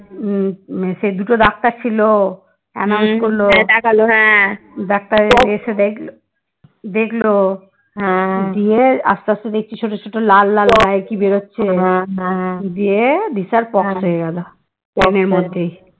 doctor রোগী এসে দেখ দেখলো দিয়ে আস্তে আস্তে দেখছি ছোট ছোট লাল লাল গলায় কি বেরোচ্ছে দিয়ে বিশাল পক্স হয়ে গেল বমির মধ্যেই